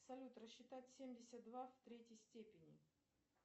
салют рассчитать семьдесят два в третьей степени